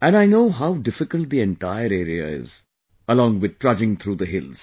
And I know how difficult the entire area is, along with trudging through the hills